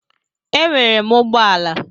Enwere m ụgbọala.